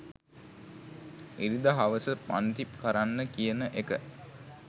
ඉරිදා හවස පන්ති කරන්න කියන එක.